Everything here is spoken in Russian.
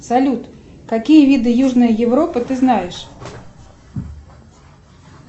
салют какие виды южной европы ты знаешь